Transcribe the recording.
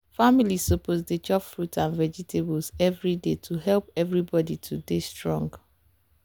families suppose dey chop fruit and vegetables every day to help everybody to dey strong.